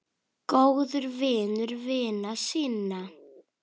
Góður vinur vina sinna.